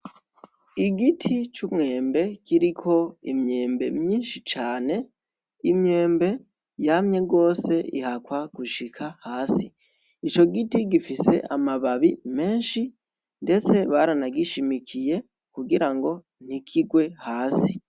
Igiti c'umwembe kiriko imyembe myinshi cane imyembe yamye gose ihakwa no gushika hasi ico giti gifise amababi menshi ndetse baranagishimikiye kugira ngo ntikigwe hasi.